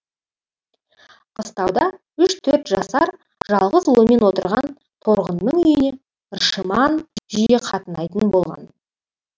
қыстауда үш төрт жасар жалғыз ұлымен отырған торғынның үйіне ршыман жиі қатынайтын болған